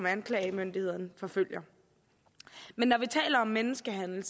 anklagemyndighederne forfølger men når vi taler om menneskehandel